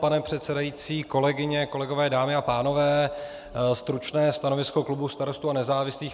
Pane předsedající, kolegyně, kolegové, dámy a pánové, stručné stanovisko klubu Starostů a nezávislých.